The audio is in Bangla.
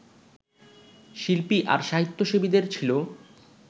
শিল্পী আর সাহিত্যসেবীদের ছিল